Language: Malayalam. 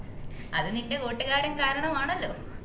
അത് നിന്റെ കൂട്ടുകാരൻ കാരണം ആണല്ലോ